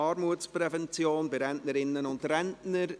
«Armutsprävention bei Rentnerinnen und Rentnern